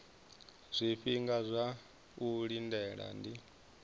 zwifhinga zwa u lindela ndi